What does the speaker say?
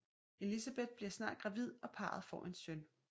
Elizabeth bliver snart gravid og parret får en søn